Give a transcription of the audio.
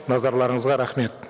назарларыңызға рахмет